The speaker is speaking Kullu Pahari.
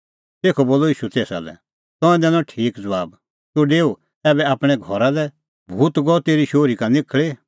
तैबै ईशू तेसा लै बोलअ तंऐं दैनअ ठीक ज़बाब तूह डेऊ आपणैं घरा लै भूत गअ तेरी शोहरी का निखल़ी